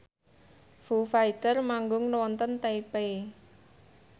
Foo Fighter manggung wonten Taipei